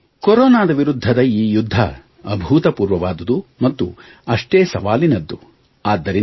ಮಿತ್ರರೇ ಕೊರೊನಾದ ವಿರುದ್ಧದ ಈ ಯುದ್ಧ ಅಭೂತಪೂರ್ವವಾದುದು ಮತ್ತು ಸವಾಲಿನದು